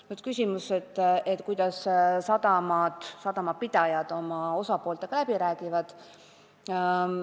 Nüüd küsimus, kuidas sadamapidajad teiste osapooltega läbi räägivad.